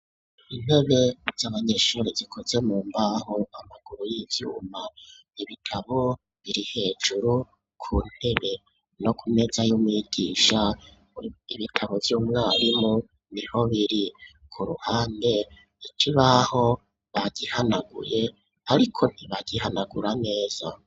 Intebe z'abanyeshuri zikoze mu mbaho amaguru y'ivyuma ibitabo biri hejuru ku ntebe no kumeza y'umwigisha ibitabo vy'umwarimu niho biri ku ruhande ikibaho bagihanaguye ariko ntibagihanagura neza.